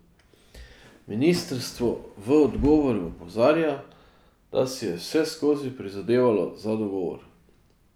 Ministrstvo v odgovoru opozarja, da si je vseskozi prizadevalo za dogovor.